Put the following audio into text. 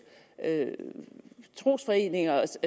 trosforeningers